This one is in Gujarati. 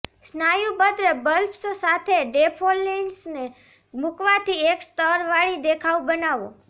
સ્નાયુબદ્ધ બલ્બ્સ સાથે ડૅફોલ્ડીલ્સને મુકવાથી એક સ્તરવાળી દેખાવ બનાવો